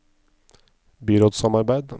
byrådssamarbeid